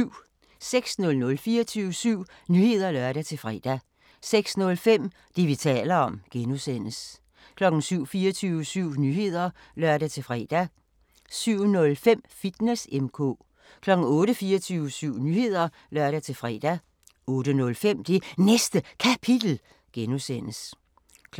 06:00: 24syv Nyheder (lør-fre) 06:05: Det, vi taler om (G) 07:00: 24syv Nyheder (lør-fre) 07:05: Fitness M/K 08:00: 24syv Nyheder (lør-fre) 08:05: Det Næste Kapitel (G) 09:00: